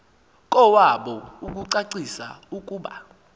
kowabo ukucacisa ukuba